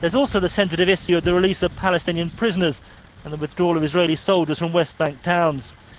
связался с андреем лесопромышленным произнёс она быстро бежали со мной станет адамс